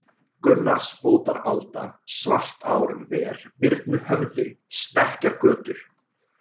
Gunnarsbótaralda, Svartárver, Birnuhöfði, Stekkjargötur